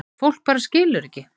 Fólk skilur bara ekki